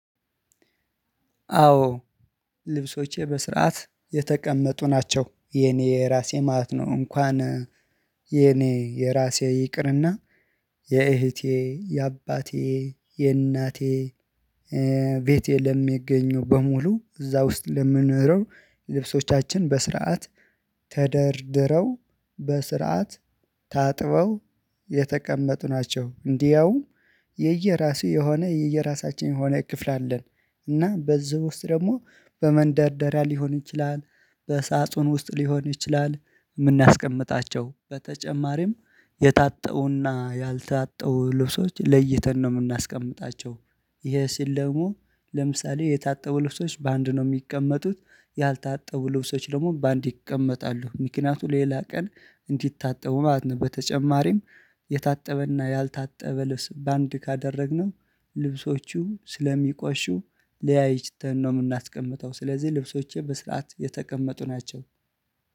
አዎ ልብሶቼ በስርዓት የተቀመጡ ናቸው የኔ የራሴ ማለት ነው። እንኳን የኔ የራሴ ይቅርና የእህቴ የአባቴ የእናቴ ቤቴ ለሚገኙ በሙሉ እዛ ውስጥ ለምንለምንኖረው ልብሶቻችን በስርዓት ተደርድረው በስርዓት ታጥበው የተቀመጡ ናቸው። እንዲያውም የየራሱ የሆነ የየራሳችን የሆነ ክፍል አለን። እና በዚህ ውስጥ ደግሞ በመንደርደሪያ ሊሆን ይችላል በሳጥን ውስጥ ሊሆን ይችላል። የምናስቀምጣቸው በተጨማሪም የታጠቡ እና ያልታጠው ልብሶች ለይተን ነው የምናስቀምጣቸው። ይሄ ሲል ደግሞ ለምሳሌ የታጠቡ ልብሶች በአንድ ነው የሚቀመጡት ያልታጠቡ ልብሶች ደግሞ በአንድ ይቀመጣሉ ምክንያቱም ሌላ ቀን እንዲታጠቡ ማለት ነው። በተጨማሪም የታጠበ እና ያልታጠበ ልብስ በአንድ ካደረግነው ልብሶቹ ስለሚቆሹ ለያይተን ነው የምናስቀምጠው። ስለዚህ ልብሶቼ በስርዓት የተቀመጡ ናቸው